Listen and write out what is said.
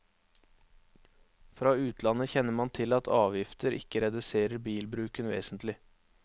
Fra utlandet kjenner man til at avgifter ikke reduserer bilbruken vesentlig.